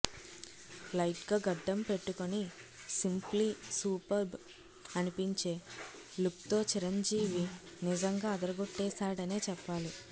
light గా గడ్డం పెట్టుకుని సింప్లీ సూపర్బ్ అనిపించే లుక్తో చిరంజీవి నిజంగా అదరగొట్టేశాడనే చెప్పాలి